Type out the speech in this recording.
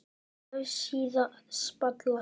Vefsíða Spalar